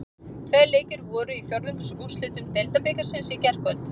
Tveir leikir voru í fjórðungsúrslitum Deildabikarsins í gærkvöld.